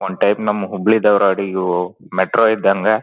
One type ನಾವ್ ಹುಬ್ಬಳ್ಳಿ ಧಾರ್ವಾಡ್ ಇವು metro ಇದ್ದಂಗೆ.